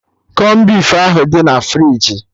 Kọn beef ahụ dị na friji